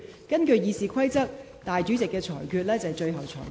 根據《議事規則》，主席決定為最終決定。